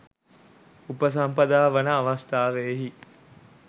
උපසම්පදා වන අවස්ථාවෙහි